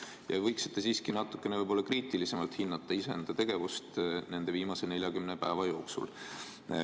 Te võiksite siiski natuke kriitilisemalt hinnata iseenda tegevust viimase 40 päeva jooksul.